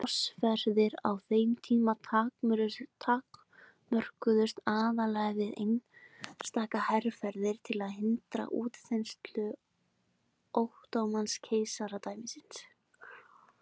Krossferðir á þeim tíma takmörkuðust aðallega við einstaka herferðir til að hindra útþenslu Ottóman-keisaradæmisins.